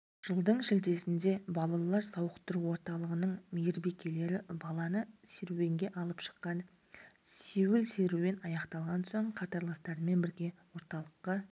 жылдың шілдесінде балалар сауықтыру орталығының мейірбикелері баланы серуенге алып шыққан-ды сеуіл-серуен аяқталған соң қатарластарымен бірге орталыққа